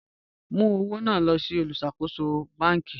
Mú ọwọ̀ náà lọ̀ sí ọdọ̀ olúṣàkóṣọ̀ bánk.